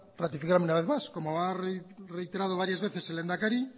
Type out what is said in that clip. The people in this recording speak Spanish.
ratificarme una vez más como ha reiterado varias veces el lehendakari